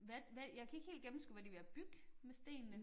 Hvad hvad jeg kan ikke helt gennemskue hvad de ved at bygge med stenene